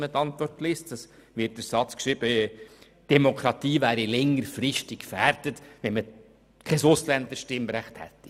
Man kann darin nämlich den Satz lesen, die Demokratie wäre längerfristig gefährdet, wenn man kein Ausländerstimmrecht hat.